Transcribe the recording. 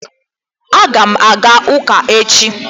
A ga m aga ụka echi